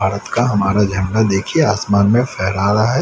भारत का हमारा झंडा देखिए आसमान में फहरा रहा है।